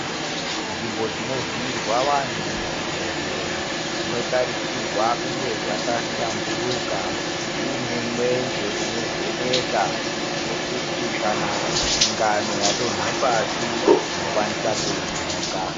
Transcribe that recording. Nzvimbo dzinovhiyirwa vanhu muzvibhodhlera dzinotarisirwa kuti kunge dzakashamburuka dziine mwenje unovheneka zvekuti kana tsinganwe yadonha pasi unokwanisa kuinhonga